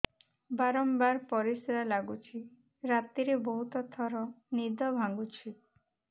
ବାରମ୍ବାର ପରିଶ୍ରା ଲାଗୁଚି ରାତିରେ ବହୁତ ଥର ନିଦ ଭାଙ୍ଗୁଛି